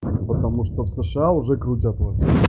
потому что в сша уже крутят вот